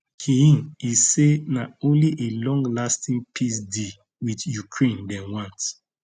kyiv im say na only a longlasting peace deal wit ukraine dem want